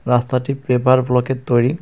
রাস্তাটি পেপার ব্লকের তৈরি.